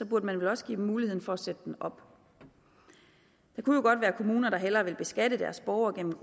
burde man vel også give dem muligheden for at sætte den op der kunne jo godt være kommuner der hellere vil beskatte deres borgere gennem